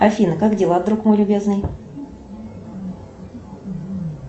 афина как дела друг мой любезный